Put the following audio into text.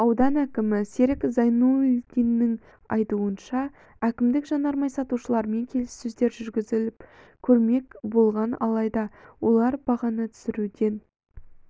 аудан әкімі серік зайнуллдиннің айтуынша әкімдік жанармай сатушыларымен келіссөздер жүргізіп көрмек болған алайда олар бағаны түсіруден